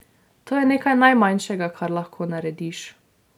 To je nekaj najmanjšega, kar lahko narediš.